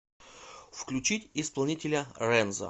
включить исполнителя рэнзо